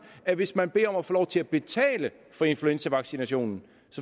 at hvis man beder om at få lov til at betale for influenzavaccinationen